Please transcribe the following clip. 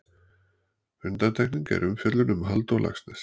Undantekning er umfjöllun um Halldór Laxness.